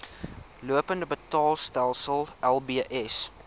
lopende betaalstelsel lbs